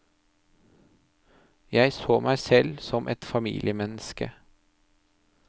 Jeg så meg selv som et familiemenneske.